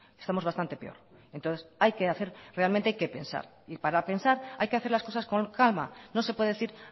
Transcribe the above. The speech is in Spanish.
estamos bastante peor entonces hay que hacer realmente hay que pensar y para pensar hay que hacer las cosas con calma no se puede decir